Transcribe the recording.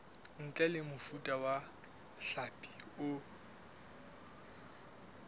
ntle mofuta wa hlapi o